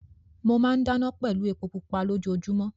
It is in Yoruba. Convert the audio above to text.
Mo máa ń dáná pẹ̀lú epo pupa lójoojúmọ́.